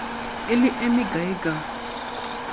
e le e mekae ka